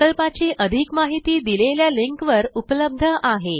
प्रकल्पाची अधिक माहिती दिलेल्या लिंकवर उपलब्ध आहे